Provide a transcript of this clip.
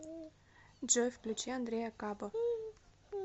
джой включи андрея кабо